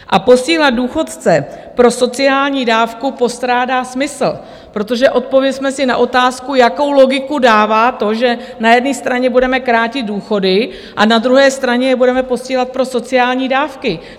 A posílat důchodce pro sociální dávku postrádá smysl, protože odpovězme si na otázku, jakou logiku dává to, že na jedné straně budeme krátit důchody a na druhé straně je budeme posílat pro sociální dávky?